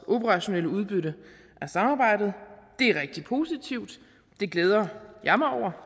operationelle udbytte af samarbejdet det er rigtig positivt det glæder jeg mig over